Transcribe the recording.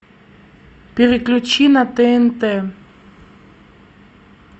переключи на тнт